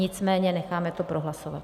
Nicméně necháme to prohlasovat.